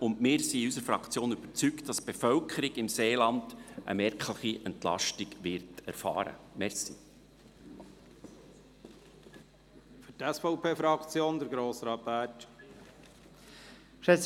Wir sind seitens unserer Fraktion überzeugt, dass die Bevölkerung im Seeland eine merkliche Entlastung erfahren wird.